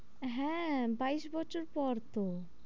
হ্যাঁ, বাইশ বছর পর তো।